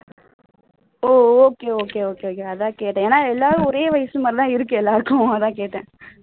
ஓ okay okay okay okay அதான் கேட்டேன் ஏன்னா எல்லாரும் ஒரே வயசு மாதிரி தான் இருக்கு எல்லாருக்கும் அதான் கேட்டேன்